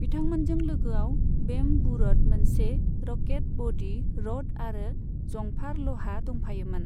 बिथांमोनजों लोगोआव बेम बू र'ड, मोनसे रकेट बडी र'ड आरो जंफार लहा दंफायोमोन।